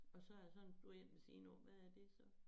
Og så er der sådan en blå én ved siden af hvad er det så